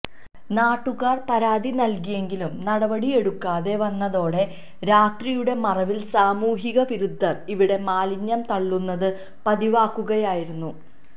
നാട്ടുകാർ പരാതി നൽകിയെങ്കിലും നടപടിയെടുക്കാതെ വന്നതോടെ രാത്രിയുടെ മറവിൽ സാമൂഹിക വിരുദ്ധർ ഇവിടെ മാലിന്യം തള്ളുന്നത് പതിവാക്കുകയായിരുന്നു